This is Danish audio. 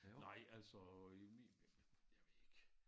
Nej altså i min jeg ved ikke